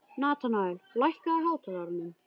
Natanael, lækkaðu í hátalaranum.